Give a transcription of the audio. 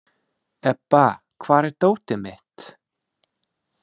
Ebba, hvar er dótið mitt?